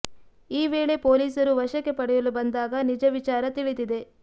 ಈ ವೇಳೆ ಪೊಲೀಸರು ವಶಕ್ಕೆ ಪಡೆಯಲು ಬಂದಾಗ ನಿಜ ವಿಚಾರ ತಿಳಿದಿದೆ